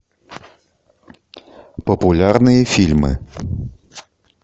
популярные фильмы